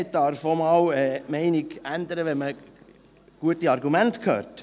Man darf auch einmal die Meinung ändern, wenn man gute Argumente hört.